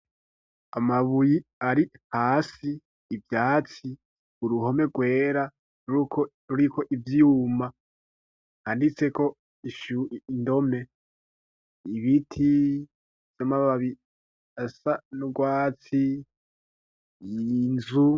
Amabuye ari hasi ivyatsi uruhome rwera ruriko ivyuma handitseko indome ibiti vy'amababi asa n'urwatsi inzu.